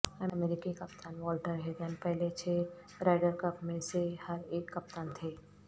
امریکی کپتان Walter Hagen پہلے چھ رائڈر کپ میں سے ہر ایک کپتان تھے